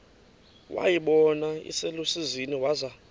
wayibona iselusizini waza